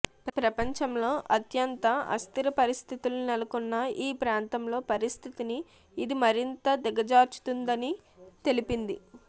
ప్రపంచంలో అత్యంత అస్థిరపరిస్థితులు నెలకొన్న ఈ ప్రాంతంలో పరిస్థితిని ఇది మరింత దిగజార్చుతుందని తెలిపింది